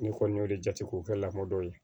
N'i kɔni y'o de jate k'o kɛ lamɔ ye